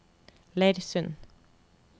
Leirsund